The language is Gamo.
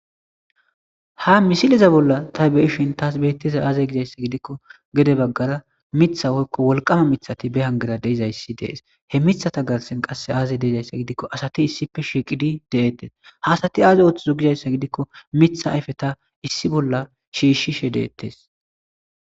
Ha misiliza bolla taybe7ishin taas beettiza aazey gizayssa gidikko gede baggara mitha hoykko wolqama mithati be hangera deizayssi dees he mitha ta garsen qasse aazey deezayssa gidikko asati issipe shiiqidi deettes haasati aazi ooththuzo gizayssa gidikko mitha ayfe ta issi bolla shiishishe deettes